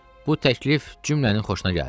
Bu təklif cümlənin xoşuna gəldi.